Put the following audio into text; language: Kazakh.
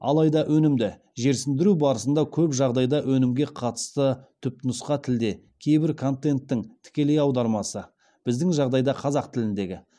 алайда өнімді жерсіндіру барысында көп жағдайда өнімге қатысты түпнұсқа тілде кейбір контенттің тікелей аудармасы біздің жағдайда қазақ тіліндегі